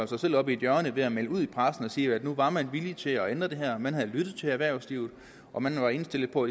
sig selv op i et hjørne ved at melde ud i pressen og sige at nu var man villig til at ændre det her man havde lyttet til erhvervslivet og man var indstillet på